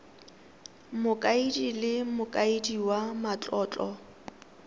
mokaedi le mokaedi wa matlotlo